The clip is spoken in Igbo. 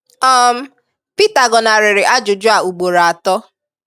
um Pita gọnarịrị ajụjụ a ugboro atọ